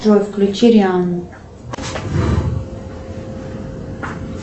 джой включи риану